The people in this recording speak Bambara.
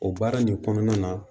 O baara nin kɔnɔna na